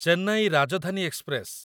Chennai Rajdhani express